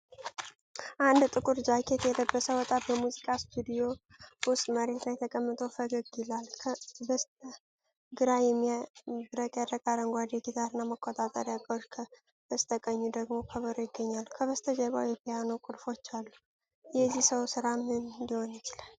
አንድ ጥቁር ጃኬት የለበሰ ወጣት በሙዚቃ ስቱዲዮ ውስጥ መሬት ላይ ተቀምጦ ፈገግ ይላል። በስተግራው የሚያብረቀርቅ አረንጓዴ ጊታርና መቆጣጠሪያ ዕቃዎች፣ በስተቀኙ ደግሞ ከበሮ ይገኛሉ፤ ከበስተጀርባው የፒያኖ ቁልፎች አሉ፤ የዚህ ሰው ሥራ ምን ሊሆን ይችላል?